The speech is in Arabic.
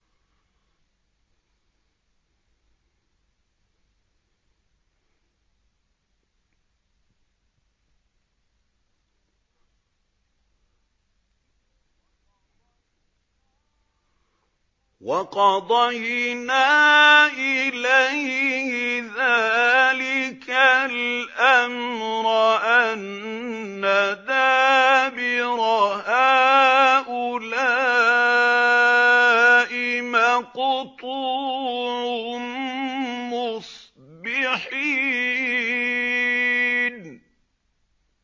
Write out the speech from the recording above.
وَقَضَيْنَا إِلَيْهِ ذَٰلِكَ الْأَمْرَ أَنَّ دَابِرَ هَٰؤُلَاءِ مَقْطُوعٌ مُّصْبِحِينَ